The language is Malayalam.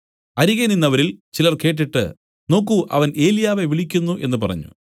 അരികെ നിന്നവരിൽ ചിലർ കേട്ടിട്ട് നോക്കൂ അവൻ ഏലിയാവെ വിളിക്കുന്നു എന്നു പറഞ്ഞു